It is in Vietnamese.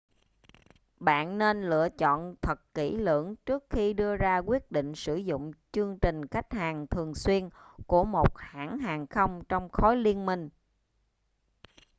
bạn nên chọn lựa thật kỹ lưỡng trước khi đưa ra quyết định sử dụng chương trình khách hàng thường xuyên của một hãng hàng không trong khối liên minh